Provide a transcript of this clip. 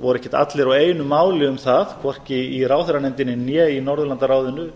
voru ekkert allir á einu máli um það hvorki í ráðherranefndinni né í norðurlandaráði